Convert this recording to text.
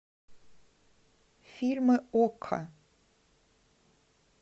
фильмы окко